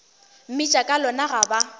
mmitša ka lona ga ba